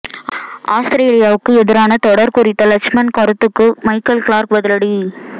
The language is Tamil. ஆஸ்திரேலியாவுக்கு எதிரான தொடர் குறித்த லட்சுமண் கருத்துக்கு மைக்கேல் கிளார்க் பதிலடி